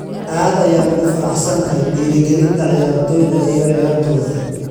Aad ayaan ugu faraxsanahay dhiirrigelinta ciyaartoyda iyo ciyaartooda.